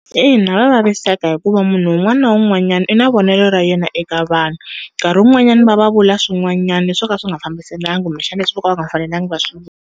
Ina va vaviseka hikuva munhu wun'wana na wun'wanyana i na vonelo ra yena eka vanhu nkarhi wun'wanyana va va vula swin'wanyana swoka swi nga fambiselani kumbe xana leswi voka va nga fanelanga va swi .